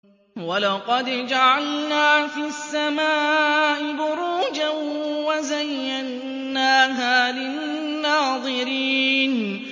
وَلَقَدْ جَعَلْنَا فِي السَّمَاءِ بُرُوجًا وَزَيَّنَّاهَا لِلنَّاظِرِينَ